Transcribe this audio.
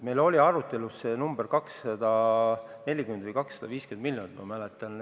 Meie arutelus oli see summa 240 või 250 miljonit, ma mäletan.